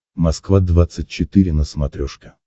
москва двадцать четыре на смотрешке